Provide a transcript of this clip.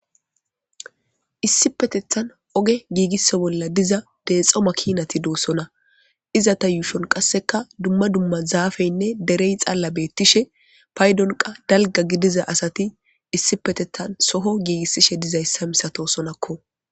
issi petethan oge giigisso bolla diza deexo makinati doossona iza ta yuushon qasseka dumma dumma zaafeynne derey xalla beettishe paydonqa dalga gidiza asati issi petethan soho giigissishe dizayssa misato sonakko